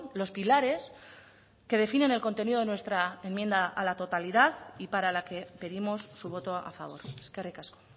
los pilares que definen el contenido de nuestra enmienda a la totalidad y para la que pedimos su voto a favor eskerrik asko